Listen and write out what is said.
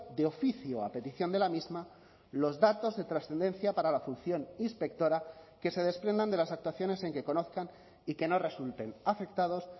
de oficio a petición de la misma los datos de trascendencia para la función inspectora que se desprendan de las actuaciones en que conozcan y que no resulten afectados